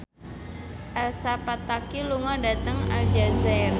Elsa Pataky lunga dhateng Aljazair